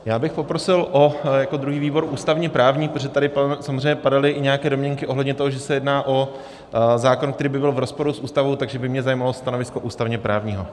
Já bych poprosil o jako druhý výbor ústavně-právní, protože tady samozřejmě padaly i nějaké domněnky ohledně toho, že se jedná o zákon, který by byl v rozporu s ústavou, takže by mě zajímalo stanovisko ústavně-právního.